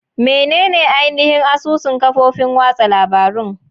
Menene ainihin asusun kafofin watsa labarun?